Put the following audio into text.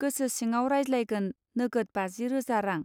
गोसो सिङाव रायज्लायगोन 'नोगोद बाजि रोजा रां.